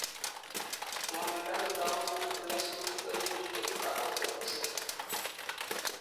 ngwonindo netogunot ak nyasutik koimuch koib kakotunosiek